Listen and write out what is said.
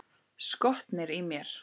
Skotnir í mér?